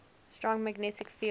strong magnetic field